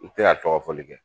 N tɛna tɔgɔ fɔli kɛ.